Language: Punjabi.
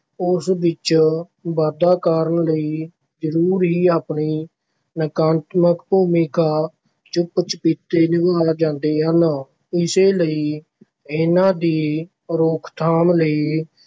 ਉਸ ਵਿੱਚ ਵਾਧਾ ਕਰਨ ਲਈ ਜ਼ਰੂਰ ਹੀ ਆਪਣੀ ਨਕਾਰਾਤਮਕ ਭੂਮਿਕਾ ਚੁੱਪ-ਚਪੀਤੇ ਨਿਭਾ ਜਾਂਦੇ ਹਨ, ਇਸੇ ਲਈ ਇਨ੍ਹਾਂ ਦੀ ਰੋਕਥਾਮ ਲਈ